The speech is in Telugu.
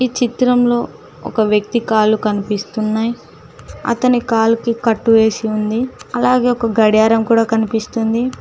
చిత్రంలో ఒక వ్యక్తి కాలు కనిపిస్తున్నాయి అతని కాలికి కట్టు వేసి ఉంది అలాగే ఒక గడియారం కూడా కనిపిస్తుంది.